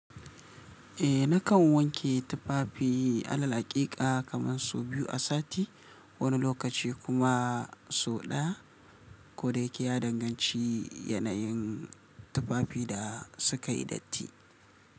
Eh nakan wanke tufafi alal haƙiƙa kaman sau biyu a sati, wani lokaci kuma sau ɗaya. Ko da yake ya danganci yanayin, tufafin da su ka yi datti.